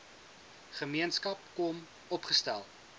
gemeenskap kom opgestel